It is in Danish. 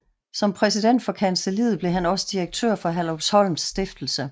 Som præsident for kancelliet blev han også direktør for Herlufsholms Stiftelse